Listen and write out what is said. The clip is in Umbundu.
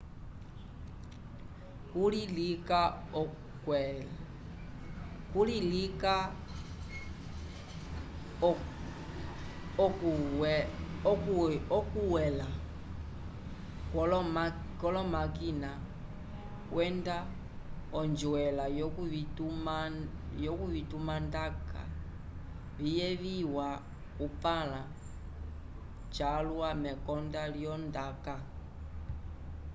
kuli lika okuywela kwolomakina kwenda onjwela yovitumandaka viyeviwa kupãla calwa mekonda lyondaka